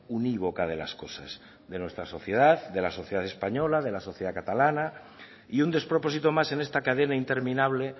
unívoca de las cosas de nuestra sociedad de la sociedad española de la sociedad catalana y un despropósito más en esta cadena interminable